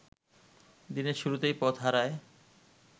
দিনের শুরুতেই পথ হারায়